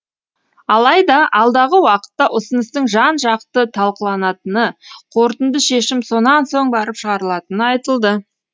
алайда алдағы уақытта ұсыныстың жан жақты талқыланатыны қорытынды шешім сонан соң барып шығарылатыны айтылды